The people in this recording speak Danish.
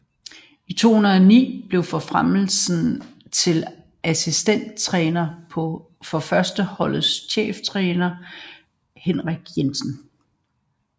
I 2009 blev han forfremmet til assistenttræner for førsteholdets cheftræner Henrik Jensen